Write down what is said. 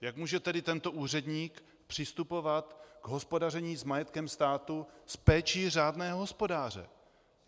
Jak může tedy tento úředník přistupovat k hospodaření s majetkem státu s péči řádného hospodáře?